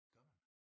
Gør man?